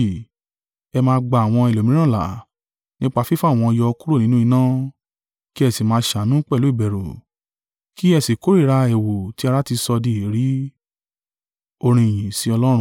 Ẹ máa gba àwọn ẹlòmíràn là, nípa fífà wọ́n yọ kúrò nínú iná; kí ẹ sì máa ṣàánú pẹ̀lú ìbẹ̀rù kí ẹ sì kórìíra ẹ̀wù tí ara ti sọ di èérí.